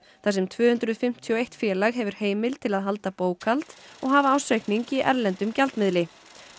þar sem tvö hundruð fimmtíu og eitt félag hefur heimild til að halda bókhald og hafa ársreikning í erlendum gjaldmiðli